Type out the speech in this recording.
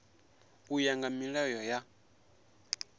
u ya nga milayo ya